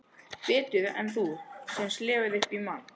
Betur en þú sem slefar upp í mann.